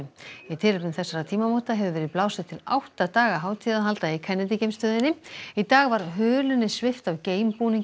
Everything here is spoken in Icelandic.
í tilefni þessara tímamóta hefur verið blásið til átta daga hátíðahalda í Kennedy geimstöðinni í dag var hulunni svipt af